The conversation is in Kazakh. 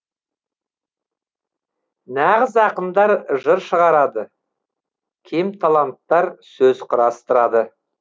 нағыз ақындар жыр шығарады кемталанттар сөз құрастырады